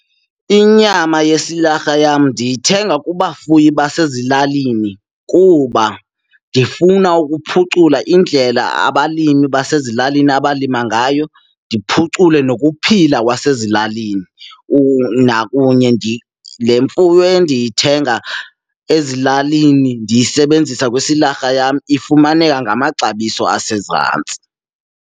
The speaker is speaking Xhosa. Inyama yesililarha yam ndiyithenga kubafuyi basezilalini kuba ndifuna ukuphucula indlela abalimi basezilalini abalima ngayo, ndiphucule nokuphila kwasezilalini. Nakunye le mfuyo endiyithenga ezilalini ndiyisebenzisa kwisilarha yam, ifumaneka ngamaxabiso asezantsi.